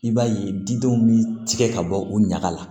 I b'a ye didenw bɛ tigɛ ka bɔ u ɲaga la